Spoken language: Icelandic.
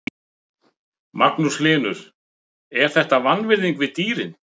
Magnús Hlynur: Er þetta vanvirðing við dýrin?